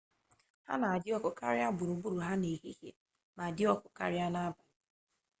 ha na-adị oyi karịa gburugburu ha n'ehihie ma dị ọkụ karịa n'abalị